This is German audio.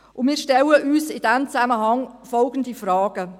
Und wir stellen uns in diesem Zusammenhang folgende Fragen: